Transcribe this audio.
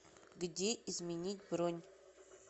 где изменить бронь